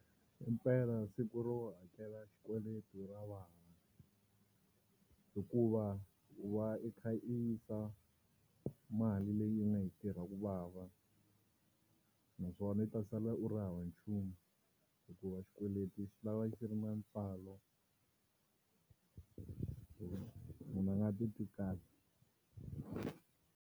Impela siku ro hakela xikweleti ra vava, hikuva i va i kha i yisa mali leyi u nga yi tirha ku vava, naswona u ta sala u ri hava nchumu hikuva xikweleti xi lava xi ri na ntswalo munhu a nga titwi kahle.